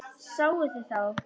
Sáuð þið þá?